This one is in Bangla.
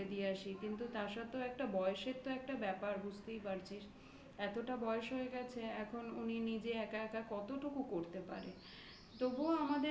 করার করে দিয়ে আসি কিন্তু তা সত্ত্বেও একটা বয়সের তো একটা ব্যাপার বুঝতেই পারছিস এতটা বয়স হয়ে গেছে. এখন উনি নিজে একা একা কতটুকু করতে পারে. তবুও